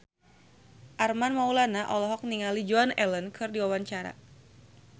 Armand Maulana olohok ningali Joan Allen keur diwawancara